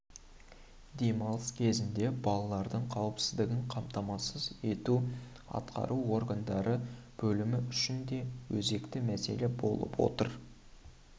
демалыс кезінде балалардың қауіпсіздігін қамтамасыз ету атқару органдары бөлімі үшін де өзекті мәселе болып отыр